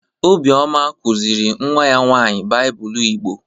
Obioma kuziri nwa ya nwaanyị Baịbụl Igbo.